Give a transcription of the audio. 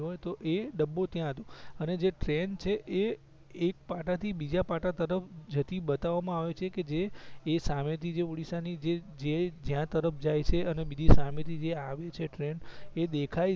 તો એ ડબ્બો ત્યાં હતું અને જે ટ્રેન જે છે એ એક પાટા થી બીજા પાટા પર જતી બતાવવામાં આવે છે એ સામેથી ઑડિસ્સા જે જે જ્યાં તરફ જાય છે અને બીજી સામેથી જે આવી છે ટ્રેન એ દેખાય છે